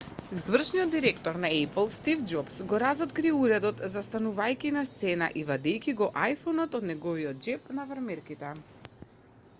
извршниот директор на ејпл стив џобс го разоткри уредот застанувајќи на сцена и вадејќи го iphone-от од неговиот џеб на фармерките